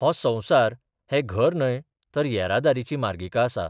हो संसार हे घर न्हय तर येरादारीची मार्गिका आसा.